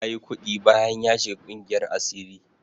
Yayi kuɗi bayan ya shiga ƙungiyar asirin.